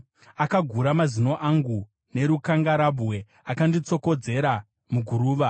Akagura mazino angu nerukangarabwe; akanditsokodzera muguruva.